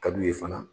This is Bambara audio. Ka d'u ye fana